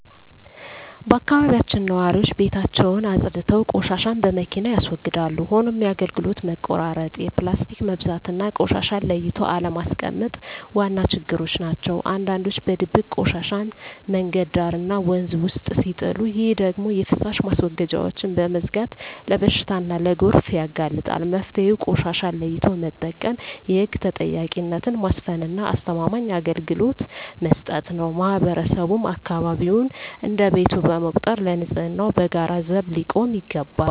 በአካባቢያችን ነዋሪዎች ቤታቸውን አፅድተው ቆሻሻን በመኪና ያስወግዳሉ። ሆኖም የአገልግሎት መቆራረጥ፣ የፕላስቲክ መብዛትና ቆሻሻን ለይቶ አለማስቀመጥ ዋና ችግሮች ናቸው። አንዳንዶች በድብቅ ቆሻሻን መንገድ ዳርና ወንዝ ውስጥ ሲጥሉ፣ ይህ ደግሞ የፍሳሽ ማስወገጃዎችን በመዝጋት ለበሽታና ለጎርፍ ያጋልጣል። መፍትሄው ቆሻሻን ለይቶ መጠቀም፣ የህግ ተጠያቂነትን ማስፈንና አስተማማኝ አገልግሎት መስጠት ነው። ማህበረሰቡም አካባቢውን እንደ ቤቱ በመቁጠር ለንፅህናው በጋራ ዘብ ሊቆም ይገባል።